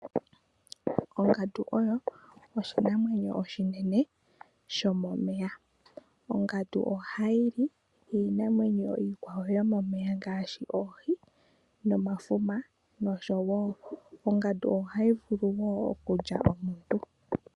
Ongandu oyo oshinamwenyo oshinene shomomeya. Ongandu ohayi li iinamwenyo iikwawo yomomeya ngaashi oohi, nomafuma nosho woo ongandu ohayi vulu woo okulya aantu.